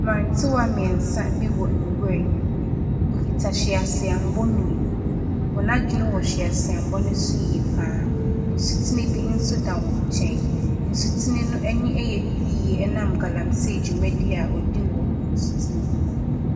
Mmrantewa mmiɛnsa bi wɔ nwuram. Wokita hweaseɛmmɔ mmienu. Wɔn adwene wɔ wɔ hweaseammɔ no so yie pa ara. Nsutene bi nso da wɔn nkyɛn. Nsutene no nso ani yɛ fi ɛnam galamsee dwumadie a wɔdi wɔ nsuo no mu.